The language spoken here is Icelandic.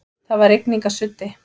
Það var rigningarsuddi.